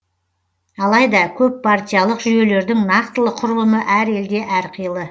алайда көппартиялық жүйелердің нақтылы құрылымы әр елде әрқилы